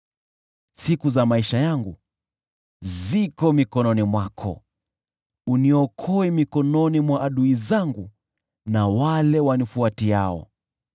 Siku za maisha yangu ziko mikononi mwako, uniokoe mikononi mwa adui zangu na wale wanifuatiao.